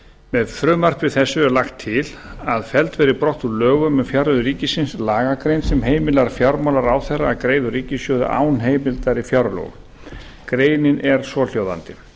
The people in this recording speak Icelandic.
með frumvarpi þessu er lagt til felld verði brott úr lögum um fjárreiður ríkisins lagagrein sem heimilar fjármálaráðherra að greiða úr ríkissjóði án heimildar í fjárlögum greinin er svohljóðandi